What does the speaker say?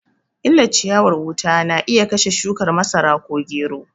Illar ciyawar wuta wuta na iya kashe shukar masara ko gero